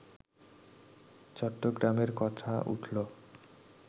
চট্টগ্রামের কথা উঠল